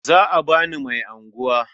Za a ba Mani mai unguwa.